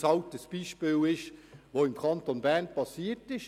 es ist ein Beispiel, das im Kanton Bern tatsächlich passiert ist.